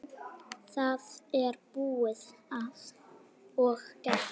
Það er búið og gert!